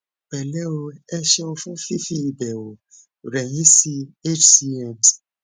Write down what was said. pẹlẹ o ẹ ṣéun fún fífi ìbẹwò rẹ yin sí hcm